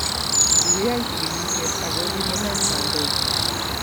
kikiyai chikilishet ako kikinam kandoik